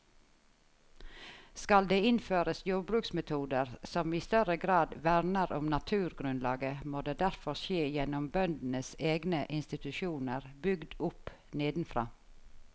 Skal det innføres jordbruksmetoder som i større grad verner om naturgrunnlaget, må det derfor skje gjennom bøndenes egne institusjoner bygd opp nedenfra.